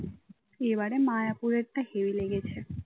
এবারে মায়াপুরের টা heavy লেগেছে।